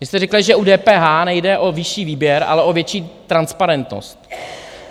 Vy jste řekli, že u DPH nejde o vyšší výběr, ale o větší transparentnost.